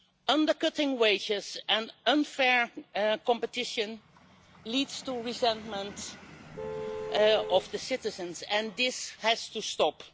Undercutting wages and unfair competition leads to resentment from citizens, and this has to stop.